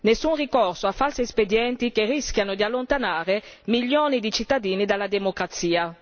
Nessun ricorso a falsi espedienti che rischiano di allontanare milioni di cittadini dalla democrazia.